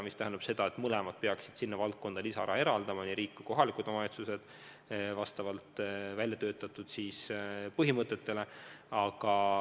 See tähendab seda, et mõlemad peaksid sinna valdkonda lisaraha eraldama, nii riik kui kohalikud omavalitsused, ja seda vastavalt välja töötatud põhimõtetele.